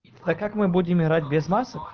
а как мы будем играть без масок